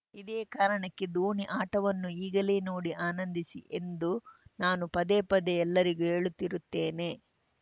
ಇದೇ ಕಾರಣಕ್ಕೆ ಧೋನಿ ಆಟವನ್ನು ಈಗಲೇ ನೋಡಿ ಆನಂದಿಸಿ ಎಂದು ನಾನು ಪದೇ ಪದೇ ಎಲ್ಲರಿಗೂ ಹೇಳುತ್ತಿರುತ್ತೇನೆ